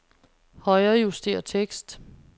Højrejuster tekst.